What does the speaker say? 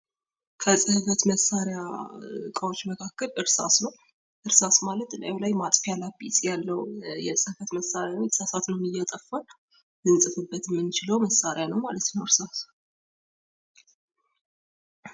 ከጽህፈት መሳሪያ እቃዎች መካከል እርሳስ ነው :: እርሳስ ማለት እላዩ ላይ ማጠፊያ ላጲስ ያለው የጽፈት መሳሪያ ነው የተሳሳትነውን እያጠፋን ልንጽፍበት የምንችለውም መሳሪያ ነው ማለት ነው እርሳስ ::